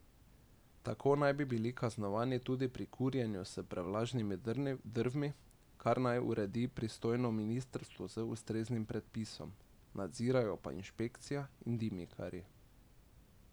Tako naj bi bili kaznovani tudi pri kurjenju z prevlažnimi drvmi, kar naj uredi pristojno ministrstvo z ustreznim predpisom, nadzirajo pa inšpekcija in dimnikarji.